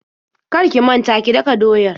Kar ki manta ki daka doyar.